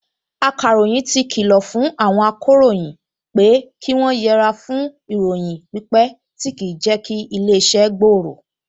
Akàròyìn ti kìlọ̀ fún àwọn akọ̀ròyìn pé kí wọ́n yẹre fún ìròyìn pípẹ tí kì í jẹ́ kí ilé-iṣẹ́ gbòòrò